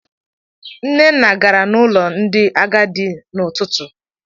Nnenna gara n'ụlọ ndị agadi n'ụtụtụ.